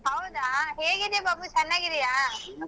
ಹೌದಾ ಹೇಗಿದೀಯಾ ಬಾಬು ಚೆನ್ನಾಗಿದ್ದೀಯಾ?